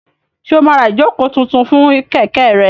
Ṣé o máa ra ìjókòó tuntun fún kẹ̀kẹ́ rẹ?